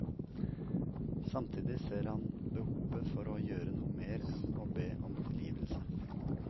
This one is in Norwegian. Samtidig ser han behovet for å gjøre noe mer enn å be om tilgivelse.